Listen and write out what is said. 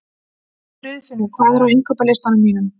Friðfinnur, hvað er á innkaupalistanum mínum?